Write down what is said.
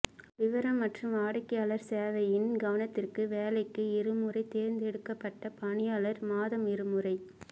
விவரம் மற்றும் வாடிக்கையாளர் சேவையின் கவனத்திற்கு வேலைக்கு இருமுறை தேர்ந்தெடுக்கப்பட்ட பணியாளர் மாதம் இருமுறை